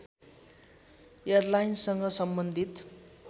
एयरलाइन्ससँग सम्बन्धित